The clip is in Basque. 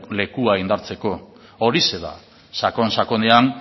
lekua indartzeko horixe da sakon sakonean